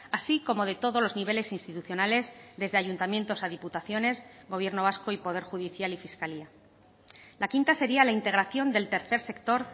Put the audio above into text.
así como de todos los niveles institucionales desde ayuntamientos a diputaciones gobierno vasco y poder judicial y fiscalía la quinta sería la integración del tercer sector